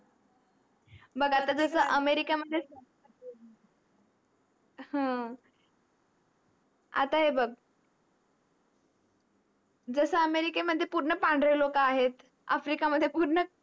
बघ आता जस अमेरिका मध्ये अह आता ही बघ जस अमेरिके मध्ये पूर्ण पांढरे लोक आहेत आफ्रिका मध्ये पूर्ण